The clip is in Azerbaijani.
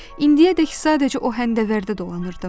İndiyədək sadəcə o həmdəvərdə dolanırdım.